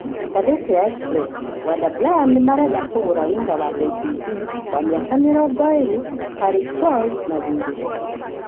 ( Ngathĩti ya Express) Wander Bryan nĩ marenda kũgũra winga wa KCB, wa miaka mĩrongoirĩ , Tarik Choy na thiĩri.